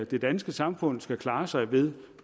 det danske samfund skal klare sig ved